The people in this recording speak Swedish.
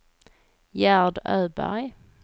Gerd Öberg